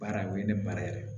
Baara o ye ne baara yɛrɛ ye